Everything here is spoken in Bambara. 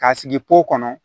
K'a sigi kɔnɔ